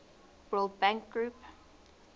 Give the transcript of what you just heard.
world bank group